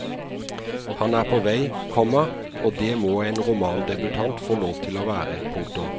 Han er på vei, komma og det må en romandebutant få lov til å være. punktum